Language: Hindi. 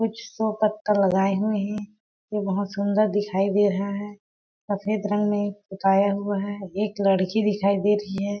कुछ शो पत्ता लगाए हुए है ये बहुत सुन्दर दिखाई दे रहा है सफ़ेद रंग में पुताया हुआ है एक लड़की दिखाई दे रही है।